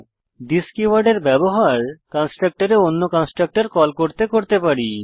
this কীওয়ার্ডের ব্যবহার কন্সট্রকটরে অন্য কন্সট্রকটর কল করতে করতে পারি